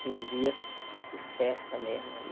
Cinco dias de festa mesmo.